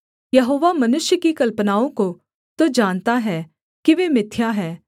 यहोवा मनुष्य की कल्पनाओं को तो जानता है कि वे मिथ्या हैं